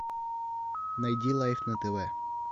найди лайф на тв